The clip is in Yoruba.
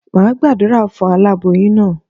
Máa Gbàdúrà fún aláboyún naa